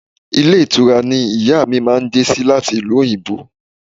Ilé ìtura ni ìyá mi máa dé sí láti ìlú òyìnbó